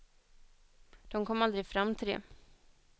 De kom aldrig fram till det.